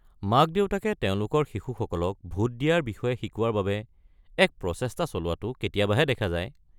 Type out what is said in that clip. মাক-দেউতাকে তেওঁলোকৰ শিশুসকলক ভোট দিয়াৰ বিষয়ে শিকোৱাৰ বাবে এক প্ৰচেষ্টা চলোৱাটো কেতিয়াবাহে দেখা যায়।